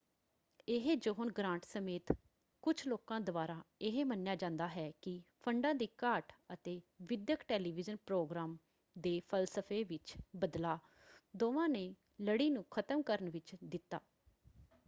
ਇਹ John Grant ਸਮੇਤ ਕੁਝ ਲੋਕਾਂ ਦੁਆਰਾ ਇਹ ਮੰਨਿਆ ਜਾਂਦਾ ਹੈ ਕਿ ਫੰਡਾਂ ਦੀ ਘਾਟ ਅਤੇ ਵਿੱਦਿਅਕ ਟੈਲੀਵਿਜ਼ਨ ਪ੍ਰੋਗਰਾਮ ਦੇ ਫਲਸਫੇ ਵਿੱਚ ਬਦਲਾਅ ਦੋਵਾਂ ਨੇ ਲੜੀ ਨੂੰ ਖ਼ਤਮ ਕਰਨ ਵਿੱਚ ਦਿੱਤਾ।